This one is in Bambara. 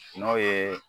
N'o ye